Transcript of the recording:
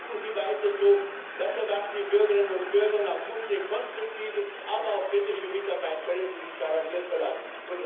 Machen Sie weiter so, das erwarten die Bürgerinnen und Bürger, und auf unsere konstruktive, aber auch kritische Mitarbeit können Sie sich garantiert verlassen.